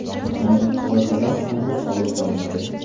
Aminokislotalar qanday qabul qilinadi?